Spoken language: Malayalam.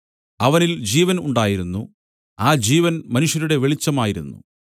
അവനിൽ ജീവൻ ഉണ്ടായിരുന്നു ആ ജീവൻ മനുഷ്യരുടെ വെളിച്ചമായിരുന്നു